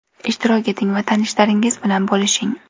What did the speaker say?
Ishtirok eting va tanishlaringiz bilan bo‘lishing!